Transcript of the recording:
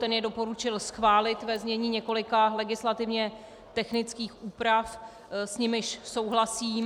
Ten jej doporučil schválit ve znění několika legislativně technických úprav, s nimiž souhlasím.